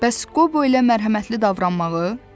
Bəs Qobo elə mərhəmətli davranmağı?